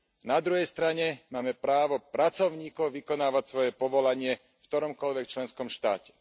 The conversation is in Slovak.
Na druhej strane máme právo pracovníkov vykonávať svoje povolanie v ktoromkoľvek členskom štáte.